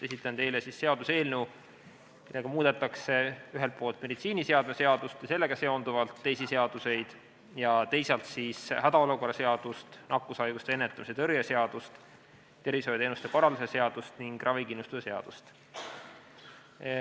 Esitan teile seaduseelnõu, millega muudetakse ühelt poolt meditsiiniseadme seadust ja sellega seonduvalt teisi seaduseid ning teisalt hädaolukorra seadust, nakkushaiguste ennetamise ja tõrje seadust, tervishoiuteenuste korraldamise seadust ning ravikindlustuse seadust.